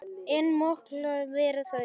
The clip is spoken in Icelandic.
En mikil voru þau.